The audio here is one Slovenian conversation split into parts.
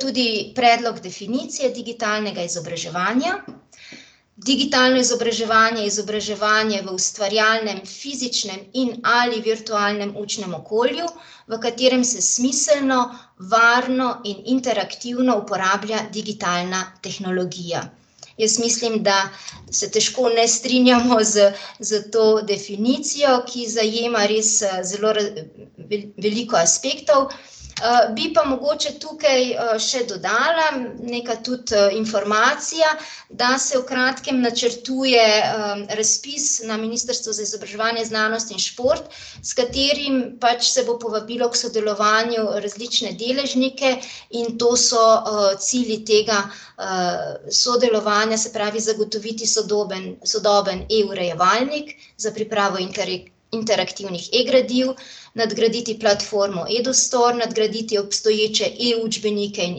tudi predlog definicije digitalnega izobraževanja: digitalno izobraževanje je izobraževanje v ustvarjalnem, fizičnem in ali virtualnem učnem okolju, v katerem se smiselno, varno in interaktivno uporablja digitalna tehnologija. Jaz mislim, da se težko ne strinjamo s, s to definicijo, ki zajema res zelo veliko aspektov, bi pa mogoče tukaj, še dodala, neka tudi, informacija, da se v kratkem načrtuje, razpis na Ministrstvu za izobraževanje, znanost in šport, s katerim pač se bo povabilo k sodelovanju različne deležnike, in to so, cilji tega, sodelovanja, se pravi zagotoviti sodoben, sodoben e-urejevalnik za pripravo iterativnih e-gradiv, nadgraditi platformo , nadgraditi obstoječe e-učbenike in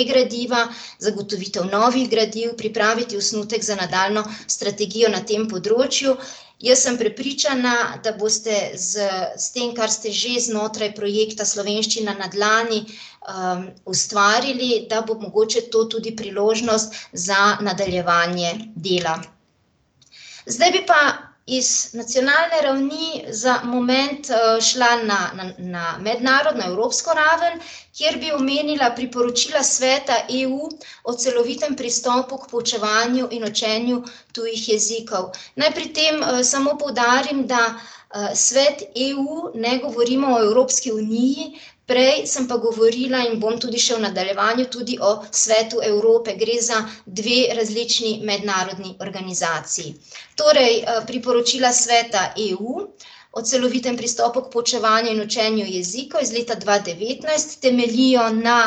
e-gradiva zagotovitev novih gradiv, pripraviti osnutek za nadaljnjo strategijo na tem področju. Jaz sem prepričana, da boste s, s tem, kar ste že znotraj projekta Slovenščina na dlani, ustvarili, da bo mogoče to tudi priložnost za nadaljevanje dela. Zdaj bi pa iz nacionalne ravni za moment, šla na, na, na mednarodno, evropsko raven, kjer bi omenila priporočila Sveta EU, o celovitem pristopu k poučevanju in učenju tujih jezikov. Naj pri tem, samo poudarim, da , Svet EU, ne govorimo o Evropski uniji, prej sem pa govorila in bom tudi še v nadaljevanju o Svetu Evrope, gre za dve različni mednarodni organizaciji. Torej, priporočila Sveta EU o celovitem pristopu k poučevanju in učenju jezikov iz leta dva devetnajst temeljijo na,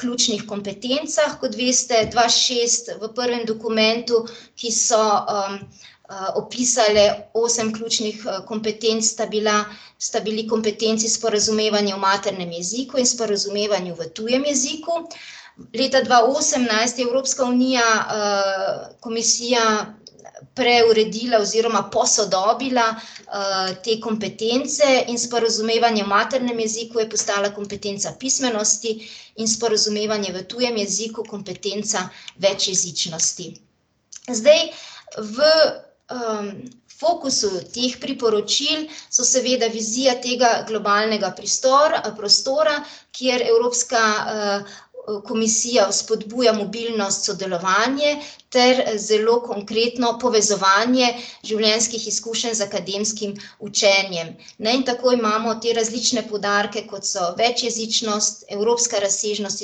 ključnih kompetencah, kot veste, dva šest v prvem dokumentu, ki so, opisale osem ključnih, kompetenc, sta bila, sta bili kompetenci sporazumevanje v maternem jeziku in sporazumevanje v tujem jeziku, leta dva osemnajst je Evropska unija, komisija preuredila oziroma posodobila, te kompetence in sporazumevanje v maternem jeziku je postala kompetenca pismenosti in sporazumevanje v tujem jeziku kompetenca večjezičnosti. Zdaj v, fokusu teh priporočil so seveda vizija tega globalnega prostora, kjer Evropska, komisija vzpodbuja mobilnost, sodelovanje ter zelo konkretno povezovanje življenjskih izkušenj z akademskim učenjem. Ne, in tako imamo te različne poudarke, kot so večjezičnost, evropska razsežnost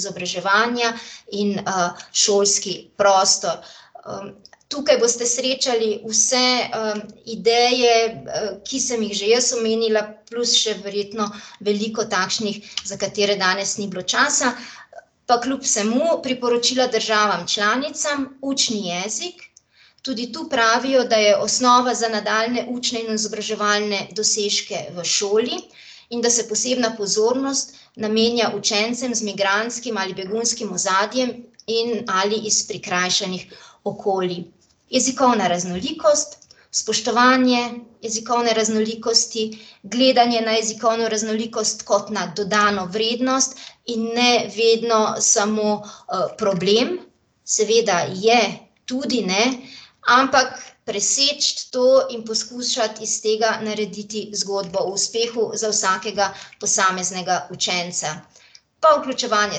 izobraževanja in, šolski prostor. tukaj boste srečali vse, ideje, ki sem jih že jaz omenila, plus še verjetno veliko takšnih, za katere danes ni bilo časa. Pa kljub vsemu, priporočila državam članicam: učni jezik, tudi tu pravijo, da je osnova za nadaljnje učne in izobraževalne dosežke v šoli in da se posebna pozornost namenja učencem z migrantskim ali begunskim ozadjem in ali iz prikrajšanih okolij. Jezikovna raznolikost, spoštovanje jezikovne raznolikosti, gledanje na jezikovno raznolikost kot na dodano vrednost in ne vedno samo, problem, seveda je tudi, ne, ampak preseči to in poskušati iz tega narediti zgodbo o uspehu za vsakega posameznega učenca. Pa vključevanje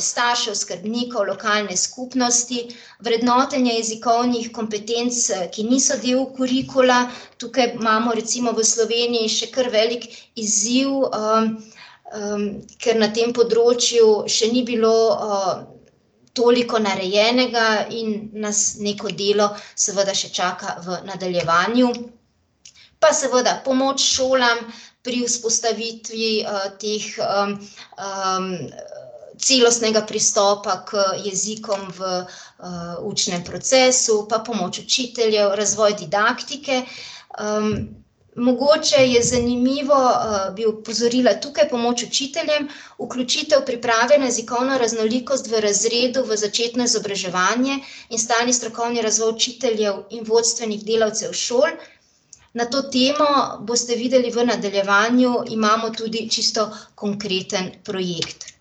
staršev, skrbnikov, lokalne skupnosti, vrednotenje jezikovnih kompetenc, ki niso del kurikula, tukaj imamo recimo v Sloveniji še kar velik izziv, ker na tem področju še ni bilo, toliko narejenega in nas neko delo seveda še čaka v nadaljevanju. Pa seveda pomoč šolam pri vzpostavitvi, teh, celostnega pristopa k jezikom v , učnem procesu, pa pomoč učiteljev, razvoj didaktike, Mogoče je zanimivo, bi opozorila, tukaj pomoč učiteljem, vključitev priprave na jezikovno raznolikost v razredu v začetno izobraževanje in stalni strokovni razvoj učiteljev in vodstvenih delavcev šol. Na to temo, boste videli v nadaljevanju, imamo tudi čisto konkreten projekt.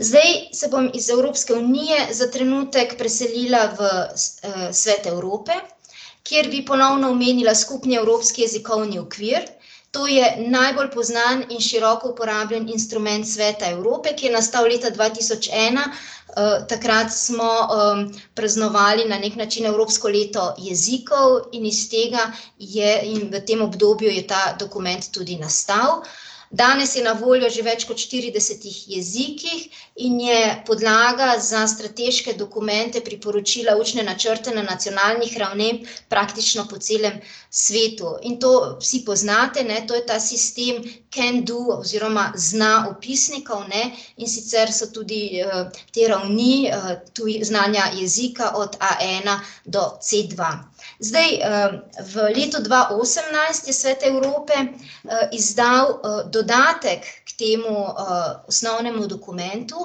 Zdaj se bom iz Evropske unije za trenutek preselila v Svet Evrope, kjer bi ponovno omenila skupni evropski jezikovni okvir, to je najbolj poznan in široko uporabljen instrument Sveta Evrope, ki je nastal leta dva tisoč ena, takrat smo, praznovali na neki način evropsko leto jezikov in iz tega je, in v tem obdobju je ta dokument tudi nastal. Danes je na voljo že v več kot štiridesetih jezikih in je podlaga za strateška dokumenta priporočila, učne načrte na nacionalnih ravneh praktično po celem svetu, in to vsi poznate, ne, to je ta sistem can-do oziroma zna-opisnikov, ne, in sicer so tudi te ravni, znanja jezika od Aena do Cdva. Zdaj, v letu dva osemnajst je Svet Evrope, izdal, dodatek k temu, osnovnemu dokumentu,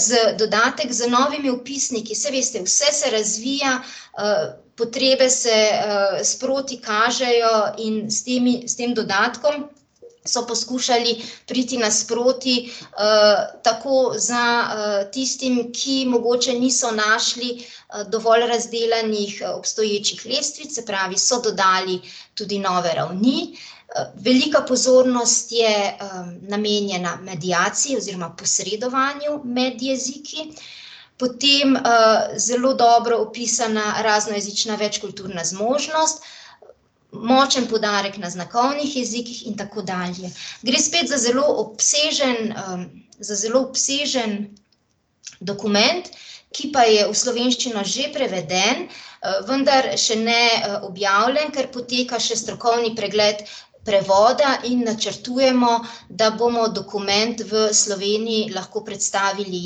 z, dodatek z novimi opisniki, saj veste, vse se razvija, potrebe se, sproti kažejo in s temi, s tem dodatkom so poskušali priti nasproti, tako za, tistim, ki mogoče niso našli, dovolj razdelanih obstoječih lestvic, se pravi, so dodali tudi nove ravni, velika pozornost je namenjena, tudi mediaciji, posredovanju med jeziki, potem, zelo dobro opisana raznojezična, večkulturna zmožnost, močen poudarek na znakovnih jezikih in tako dalje, gre spet za zelo obsežen, za zelo obsežen dokument, ki pa je v slovenščino že preveden, vendar še ne, objavljen, ker poteka še strokovni pregled prevoda, in načrtujemo, da bomo dokument v Sloveniji lahko predstavili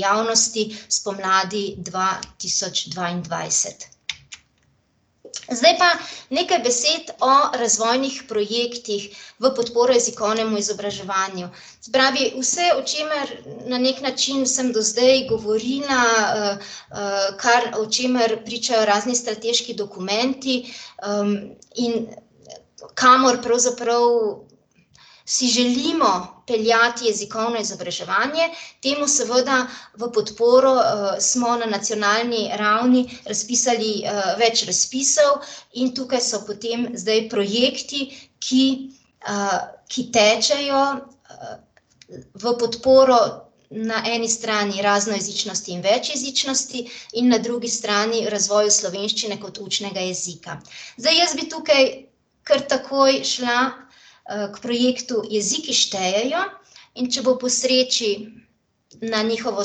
javnosti spomladi dva tisoč dvaindvajset. Zdaj pa nekaj besed o razvojnih projektih v podporo jezikovnemu izobraževanju. Se pravi vse, o čemer na neki način sem do zdaj govorila, kar, o čemer pričajo razni strateški dokumenti, in kamor pravzaprav si želimo peljati jezikovno izobraževanje, temu seveda v podporo, smo na nacionalni ravni razpisali, več razpisov in tukaj so potem zdaj projekti, ki, ki tečejo, v podporo na eni strani raznojezičnosti in večjezičnosti in na drugi strani razvoju slovenščine kot učnega jezika. Zdaj jaz bi tukaj kar takoj šla, k projektu Jeziki štejejo, in če bo po sreči, na njihovo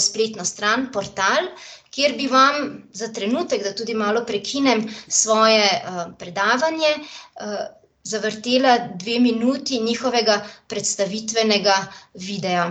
spletno stran, portal, kjer bi vam za trenutek, da tudi malo prekinem svoje, predavanje, zavrtela dve minuti njihovega predstavitvenega videa.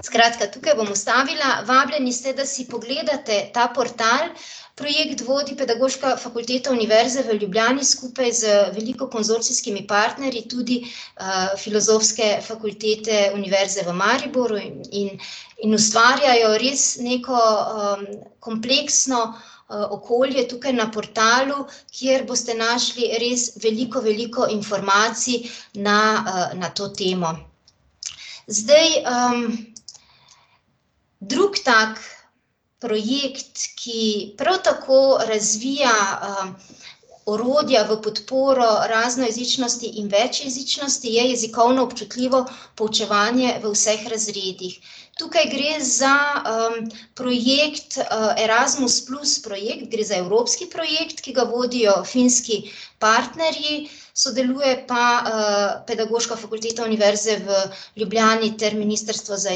Skratka, tukaj bom ustavila, vabljeni ste, da si pogledate ta portal, projekt vodi Pedagoška fakulteta Univerze v Ljubljani skupaj z veliko konzorcijskimi partnerji, tudi, Filozofske fakultete Univerze v Mariboru, in in ustvarjajo res neko, kompleksno, okolje tukaj na portalu, kjer boste našli res veliko veliko informacij na, na to temo. Zdaj, drug tako projekt, ki prav tako razvija, orodja v podporo raznojezičnosti in večjezičnosti, je jezikovno občutljivo poučevanje v vseh razredih. Tukaj gre za, projekt, Erasmus plus projekt, gre za evropski projekt, ki ga vodijo finski partnerji, sodeluje pa, Pedagoška fakulteta Univerze v Ljubljani ter Ministrstvo za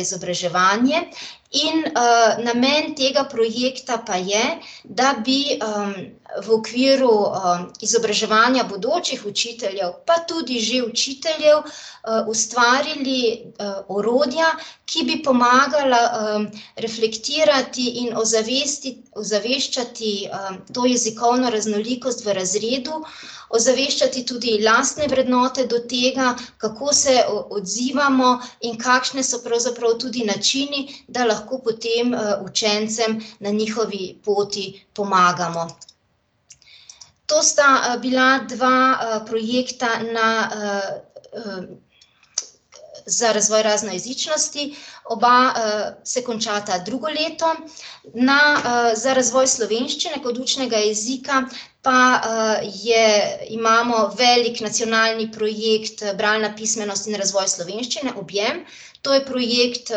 izobraževanje, in, namen tega projekta pa je, da bi, v okviru, izobraževanja bodočih učiteljev, pa tudi že učiteljev, ustvarili, orodja, ki bi pomagala, reflektirati in ozaveščati, to jezikovno raznolikost v razredu, ozaveščati tudi lastne vrednote do tega, kako se odzivamo in kakšni so pravzaprav tudi načini, da lahko potem, učencem na njihovi poti pomagamo. To sta, bila dva, projekta na, ...... za razvoj raznojezičnosti oba, se končata drugo leto na, za razvoj slovenščine kot učnega jezika pa, je, imamo velik nacionalni projekt, Bralna pismenost in razvoj slovenščine Objem, to je projekt,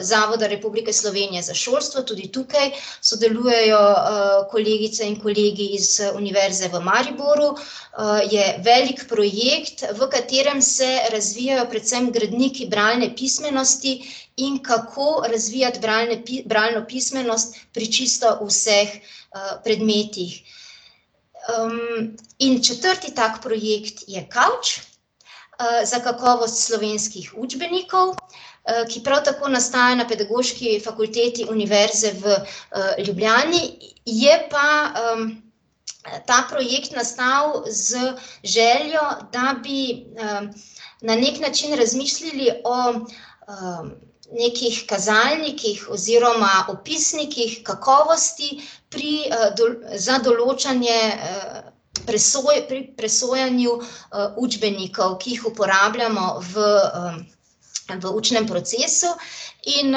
Zavoda Republike Slovenije za šolstvo, tudi tukaj sodelujejo, kolegice in kolegi iz Univerze v Mariboru, je velik projekt, v katerem se razvijajo predvsem gradniki bralne pismenosti, in kako razvijati bralne bralno pismenost pri čisto vseh, predmetih. in četrti ta projekt je Kavč, za kakovost slovenskih učbenikov, ki prav tako nastaja na Pedagoški fakulteti Univerze v, Ljubljani, je pa, ta projekt nastal z željo, da bi, na neki način razmislili o, nekih kazalnikih oziroma opisnikih kakovosti, pri, za določanje pri presojanju, učbenikov, ki jih uporabljamo v, v učnem procesu. In,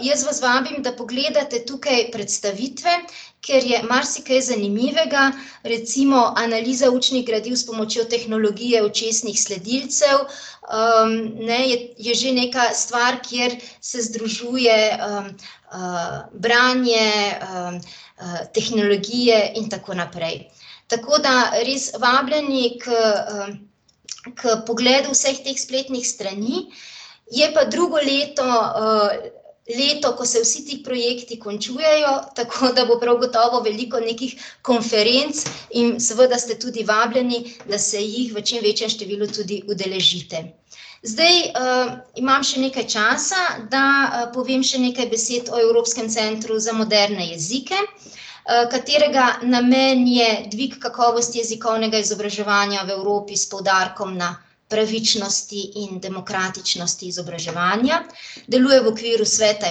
jaz vas vabim, da pogledate tukaj predstavitve, ker je marsikaj zanimivega, recimo analiza učnih gradiv s pomočjo tehnologije očesnih sledilcev, ne, je, je že neka stvar, kjer se združuje, branje, tehnologije in tako naprej. Tako da res vabljeni k, ker pogledu vseh teh spletnih strani, je pa drugo leto, leto, ko se vsi ti projekti končujejo, tako da bo prav gotovo veliko nekih konferenc in seveda ste tudi vabljeni, da se jih v čim večjem številu tudi udeležite. Zdaj, imam še nekaj časa, da povem še nekaj besed o Evropskem centru za moderne jezike, katerega namen je dvig kakovosti jezikovnega izobraževanja v Evropi s poudarkom na pravičnosti in demokratičnosti izobraževanja, deluje v okviru Sveta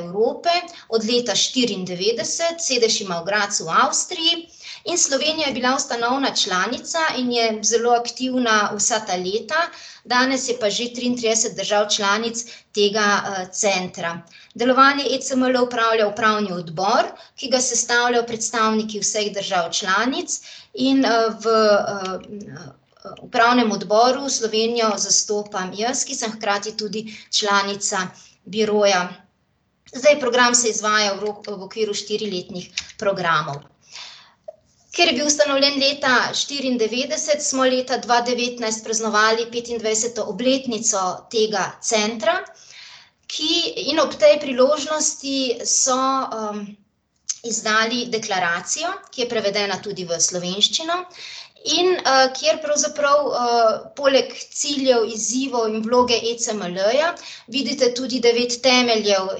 Evrope, od leta štiriindevetdeset, sedež ima v Gradcu, v Avstriji, in Slovenija je bila ustanovna članica in je zelo aktivna vsa ta leta , danes je pa že triintrideset držav članic tega, centra. Delovanje ECML upravlja upravni odbor, ki ga sestavljajo predstavniki vseh držav članic, in, v, upravnem odboru Slovenijo zastopam jaz, ki sem hkrati tudi članica biroja. Zdaj program se izvaja v v okviru štiriletnih programov. Ker je bil ustanovljen leta štiriindevetdeset, smo leta dva devetnajst praznovali petindvajseto obletnico tega centra, ki, in ob tej priložnosti so, izdali deklaracijo, ki je prevedena tudi v slovenščino, in, kjer pravzaprav, poleg ciljev, izzivov in vloge ECML-ja vidite tudi devet temeljev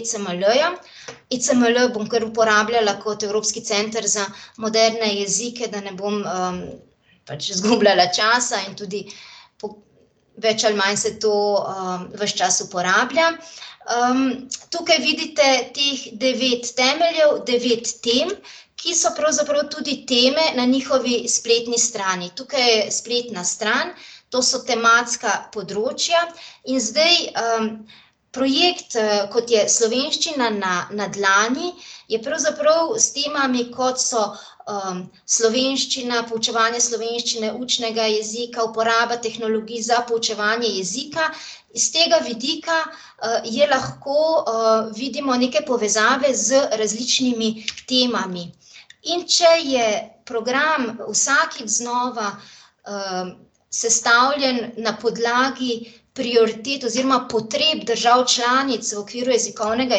ECML-ja, ECML bom kar uporabljala kot Evropski center za moderne jezike, da ne bom, pač zgubljala časa in tudi več ali manj se to, ves čas uporablja. tukaj vidite teh devet temeljev, devet tem, ki so pravzaprav tudi teme na njihovi spletni strani, tukaj je spletna stran, to so tematska področja, in zdaj, projekt, kot je Slovenščina na, na dlani, je pravzaprav s temami, kot so, slovenščina, poučevanje slovenščine, učnega jezika, uporaba tehnologij za poučevanje jezika. Iz tega vidika, je lahko, vidimo neke povezave z različnimi temami. In če je program vsakič znova, sestavljen na podlagi prioritet oziroma potreb držav članic v okviru jezikovnega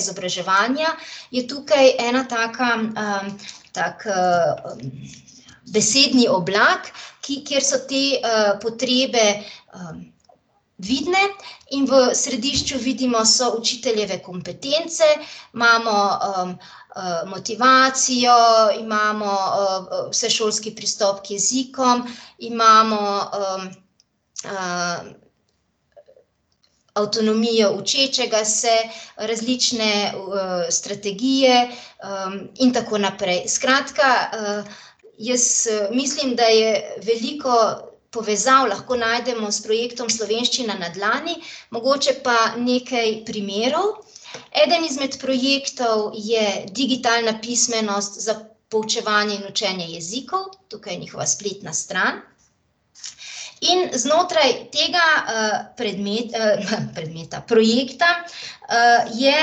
izobraževanja, je tukaj ena taka, tak, besedni oblak, ki, kjer so te, potrebe vidne, in v središču, vidimo, so učiteljeve kompetence, imamo, motivacijo, imamo, vsešolski pristop k jezikom, imamo, avtonomijo učečega se, različne strategije, in tako naprej. Skratka, jaz mislim, da je veliko povezav lahko najdemo s projektom Slovenščina na dlani, mogoče pa nekaj primerov. Eden izmed projektov je digitalna pismenost za poučevanje in učenje jezikov in znotraj tega, predmeta, projekta, je,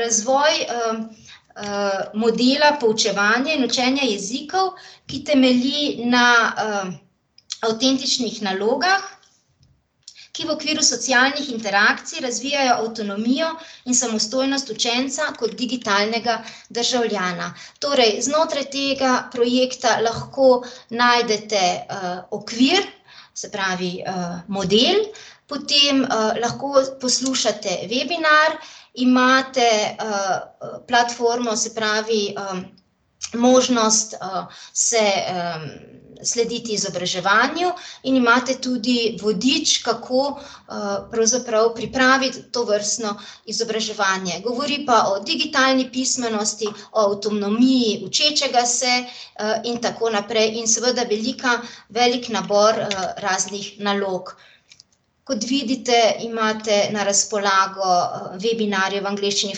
razvoj, modela poučevanje in učenje jezikov, ki temelji na, avtentičnih nalogah, ki v okviru socialnih interakcij razvijajo avtonomijo in samostojnost učenca kot digitalnega državljana. Torej znotraj tega projekta lahko najdete, okvir, se pravi, model, potem, lahko poslušate webinar, imate, platformo, se pravi, možnost, se, slediti izobraževanju, in imate tudi vodič, kako, pravzaprav pripraviti tovrstno izobraževanje, govori pa o digitalni pismenosti, o avtonomiji učečega se , in tako naprej, in seveda velika, velik nabor, raznih nalog. Kot vidite, imate na razpolago webinarje v angleščini,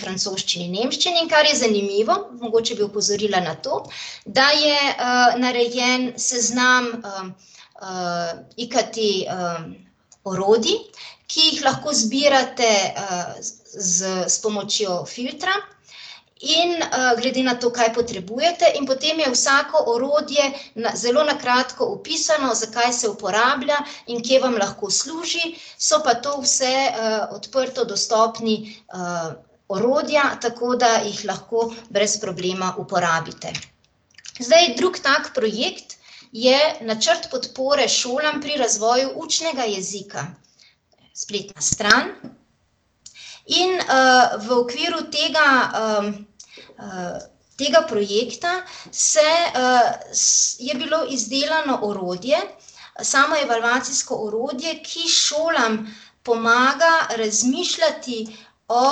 francoščini in nemščini, kar je zanimivo, mogoče bi opozorila na to, da je, narejen seznam, IKT, orodij, ki jih lahko izbirate, s, s pomočjo filtra in, glede na to, kaj potrebujete, in potem je vsako orodje na, zelo na kratko opisano, za kaj se uporablja in kje vam lahko služi, so pa to vse, odprto dostopna, orodja, tako da jih lahko brez problema uporabite. Zdaj, drug tako projekt je načrt podpore šolam pri razvoju učnega jezika. Spletna stran. In, v okviru tega, tega projekta se, je bilo izdelano orodje, samoevalvacijsko orodje, ki šolam pomaga razmišljati o,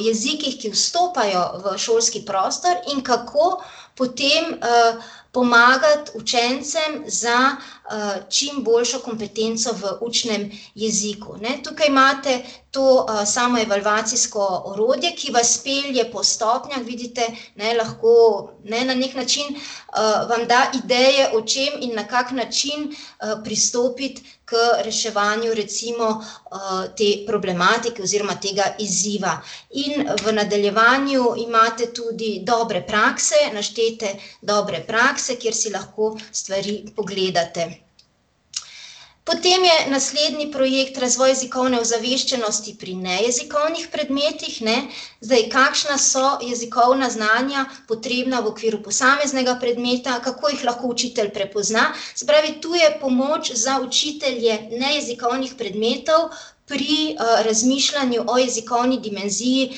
jezikih, ki vstopajo v šolski prostor, in kako potem, pomagati učencem za, čimboljšo kompetenco v učnem jeziku, ne, tukaj imate to, samoevalvacijsko orodje, ki vas pelje po stopnjah, vidite, ne, lahko, ne, na neki način, vam da ideje o čem in na kak način, pristopiti ker reševanju recimo, te problematike oziroma tega izziva. In v nadaljevanju imate tudi dobre prakse naštete, dobre prakse, kjer si lahko stvari pogledate. Potem je naslednji projekt Razvoj jezikovne ozaveščenosti pri nejezikovnih predmetih, ne, zdaj, kakšna so jezikovna znanja, potrebna v okviru posameznega predmeta, kako jih lahko učitelj prepozna, se pravi, to je pomoč za učitelje nejezikovnih predmetov pri, razmišljanju o jezikovni dimenziji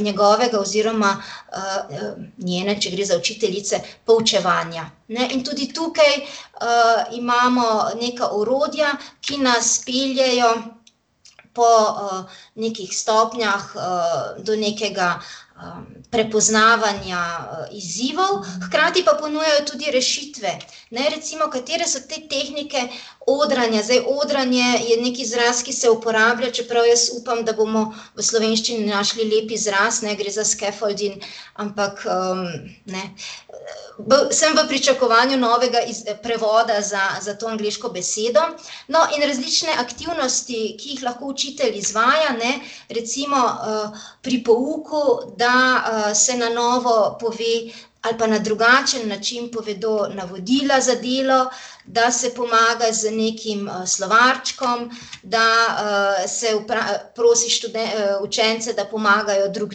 njegovega oziroma, njene, če gre za učiteljice, poučevanja. Ne, in tudi tukaj, imamo nekaj orodja, ki nas peljejo po, nekih stopnjah, do nekega, prepoznavanja, izzivov, hkrati pa ponujajo tudi rešitve. Ne, recimo, katere so te tehnike odranja, zdaj, odranje je neki izraz, ki se uporablja, čeprav jaz upam, da bomo v slovenščini našli lep izraz, ne, gre za scaffolding, ampak, ne. sem v pričakovanju novega prevoda za, za to angleško besedo. No, in različne aktivnosti, ki jih lahko učitelj izvaja, ne, recimo, pri pouku, da, se na novo pove ali pa na drugačen način povedo navodila za delo, da se pomaga z nekim, slovarčkom, da, se prosi učence, da pomagajo drug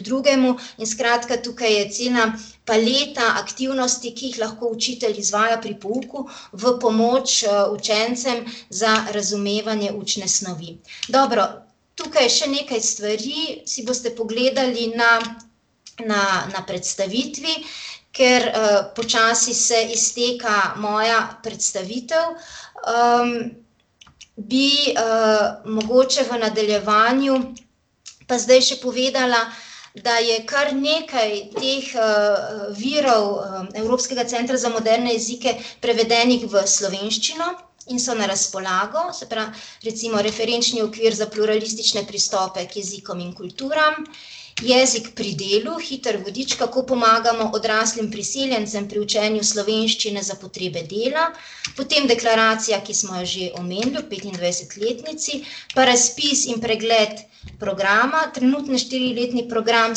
drugemu, in skratka, tukaj je cela paleta aktivnosti, ki jih lahko učitelj izvaja pri pouku v pomoč, učencem za razumevanje učne snovi. Dobro, tukaj še nekaj stvari si boste pogledali na, na, na predstavitvi, ker, počasi se izteka moja predstavitev, bi, mogoče v nadaljevanju pa zdaj še povedala da je kar nekaj teh, virov Evropskega centra za moderne jezike prevedenih v slovenščino in so na razpolago, se recimo referenčni okvir za pluralistične pristope k jezikom in kulturam jezik pri delu, hitri vodič, kako pomagamo odraslim priseljencem pri učenju slovenščine za potrebe dela, potem deklaracija, ki smo jo že omenili ob petindvajsetletnici, pa razpis in pregled programa, trenutni štiriletni program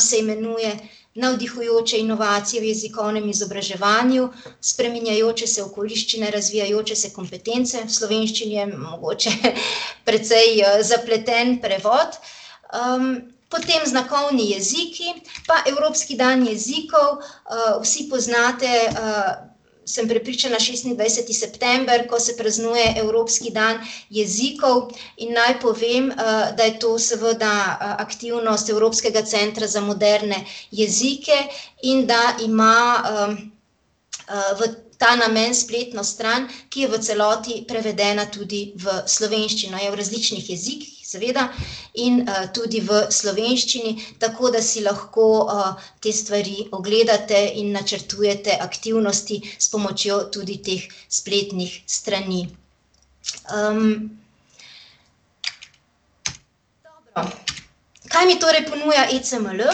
se imenuje Navdihujoče inovacije v jezikovnem izobraževanju, spreminjajoče se okoliščine, razvijajoče se kompetence, v slovenščini je mogoče precej, zapleten prevod, potem znakovni jeziki pa evropski dan jezikov, vsi poznate, sem prepričana, šestindvajseti september, ko se praznuje evropski dan jezikov, in naj povem, da je to seveda aktivnost Evropskega centra za moderne jezike in da ima, v ta namen spletno stran, ki je v celoti prevedena tudi v slovenščino, je v različnih jezikih seveda, in, tudi v slovenščini, tako da si lahko, te stvari ogledate in načrtujete aktivnosti s pomočjo tudi teh spletnih strani. Dobro. Kaj mi torej ponuja ECML?